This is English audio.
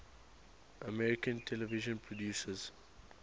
american television producers